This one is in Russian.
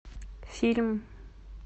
фильм